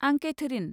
आं केथेरिन।